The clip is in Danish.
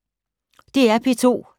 DR P2